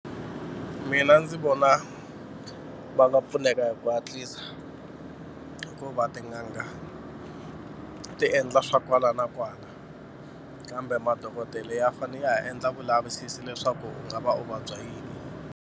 Mina ndzi vona va nga pfuneka hi ku hatlisa hikuva tin'anga ti endla swa kwala na kwala kambe madokodele ya fanele ya ha endla vulavisisi leswaku u nga va u vabya yini.